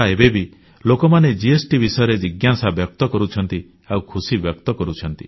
ଏବେବି ଲୋକମାନେ ଜିଏସଟି ବିଷୟରେ ଜିଜ୍ଞାସା କରୁଛନ୍ତି ଆଉ ଖୁସିବ୍ୟକ୍ତ କରୁଛନ୍ତି